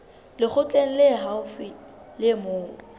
lekgotleng le haufi le moo